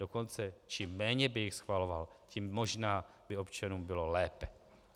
Dokonce čím méně by jich schvaloval, tím možná by občanům bylo lépe.